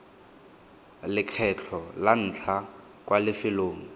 lekgetlho la ntlha kwa lefelong